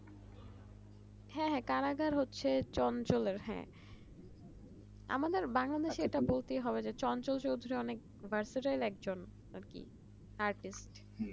হ্যাঁ হ্যাঁ কারাগার হচ্ছে চঞ্চলের আমাদের বাংলাদেশের এটা বলতেই হবে যে চঞ্চল চৌধুরী অনেক bachelor একজন আর কি artist